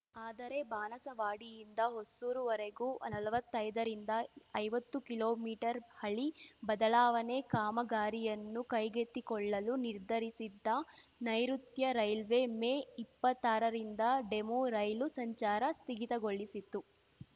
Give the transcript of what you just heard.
ಆದರೆ ಬಾಣಸವಾಡಿಯಿಂದ ಹೊಸೂರುವರೆಗೂನಲ್ವತ್ತೈದರಿಂದಐವತ್ತು ಕಿಲೋಮೀಟರ್ ಹಳಿ ಬದಲಾವಣೆ ಕಾಮಗಾರಿಯನ್ನು ಕೈಗೆತ್ತಿಕೊಳ್ಳಲು ನಿರ್ಧರಿಸಿದ್ದ ನೈಋತ್ಯ ರೈಲ್ವೆ ಮೇ ಇಪ್ಪತ್ತಾರರಿಂದ ಡೆಮು ರೈಲು ಸಂಚಾರ ಸ್ಥಗಿತಗೊಳಿಸಿತ್ತು